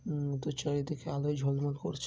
উম তো চারিদিক আলো ঝলমল করছে।